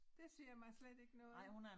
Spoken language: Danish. Det siger mig slet ikke noget